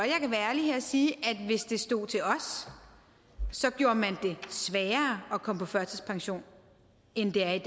sige at hvis det stod til os så gjorde man det sværere at komme på førtidspension end det er i